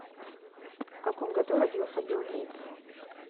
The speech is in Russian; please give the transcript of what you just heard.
в каком году родился билл гейтс